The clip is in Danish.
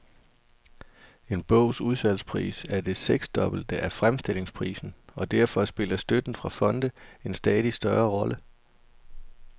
En bogs udsalgspris er det seksdobbelte af fremstillingsprisen, og derfor spiller støtten fra fonde en stadig større rolle.